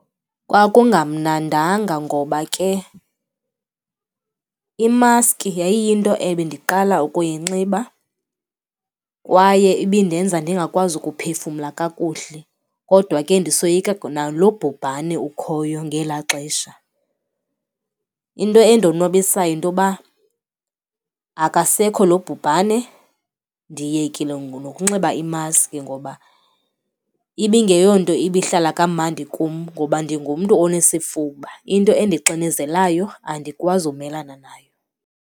Kwakungamnadanga ngoba ke imaski yayiyinto ebendiqala ukuyinxiba kwaye ibindenza ndingakwazi ukuphefumla kakuhle kodwa ke ndisoyika nalo bhubhane ukhoyo ngelaa xesha. Into endonwabisayo yinto yoba akasekho lo bubhane, ndiyekile nokunxiba imaski ngoba ibingeyonto ibihlala kamandi kum ngoba ndingumntu onesifuba, into endixinezelayo andikwazi umelana nayo.